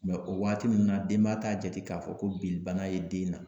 o waati ninnu na denba t'a jate k'a fɔ ko bili bana ye den na